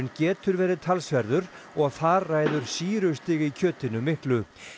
getur verið talsverður og þar ræður sýrustig í kjötinu miklu